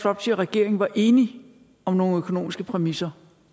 og regeringen var enige om nogle økonomiske præmisser